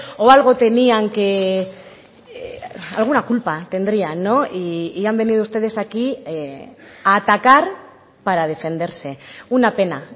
o algo tenían que alguna culpa tendría y han venido ustedes aquí a atacar para defenderse una pena